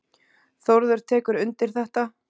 Þórður tekur undir þetta.